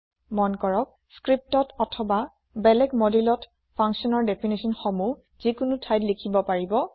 টোকা লিপিত অথবা বেলেগ moduleত functionৰ দেফিনাছন সংজ্ঞা সমূহ যিকোনো ঠাইতে লিখিব পাৰি